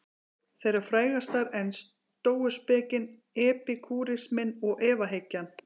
Þeirra frægastar eru stóuspekin, epikúrisminn og efahyggjan.